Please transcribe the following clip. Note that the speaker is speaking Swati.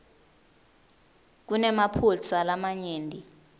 kunemaphutsa lamanyenti